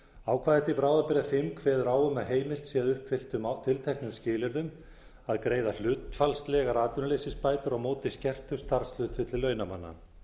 ákvæði til bráðabirgða fimm kveður á um að heimilt sé að uppfylltum tilteknum skilyrðum að greiða hlutfallslegar atvinnuleysisbætur á móti skertu starfshlutfalli launamanna